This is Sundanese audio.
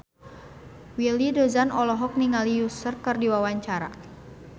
Willy Dozan olohok ningali Usher keur diwawancara